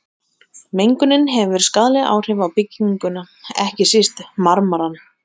Mengunin hefur skaðleg áhrif á bygginguna, ekki síst á marmarann.